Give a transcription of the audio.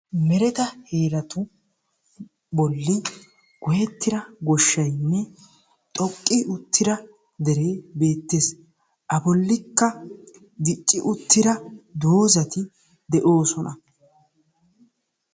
Mereta heeratu bolli goyyetira goshshaynne xoqqi uttira dere beettees; A bollikka dicci uttira doozati de'oosona.